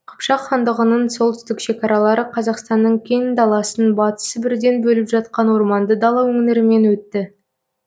қыпшақ хандығының солтүстік шекаралары қазақстанның кең даласын батыс сібірден бөліп жатқан орманды дала өңірімен өтті